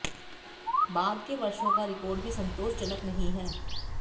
बाद के वर्षों का रिकार्ड भी संतोषजनक नहीं है